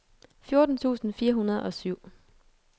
fjorten tusind fire hundrede og syv